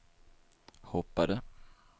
hoppade